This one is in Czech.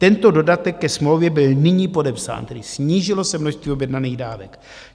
Tento dodatek ke smlouvě byl nyní podepsán, tedy snížilo se množství objednaných dávek.